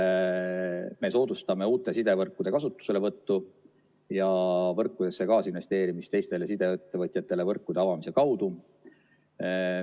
Me soodustame uute sidevõrkude kasutuselevõttu ja võrkudesse kaasinvesteerimist teistele sideettevõtjatele võrkude avamise kaudu.